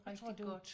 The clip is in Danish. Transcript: Jeg tror det var